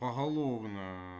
поголовно